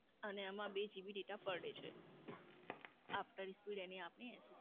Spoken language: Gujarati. અને આમાં બે GB data per day છે. After speed any આપને